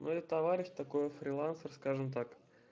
ну это товарищ такое фрилансер скажем так